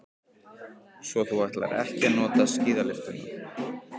Svo þú ætlar ekki að nota skíðalyftuna.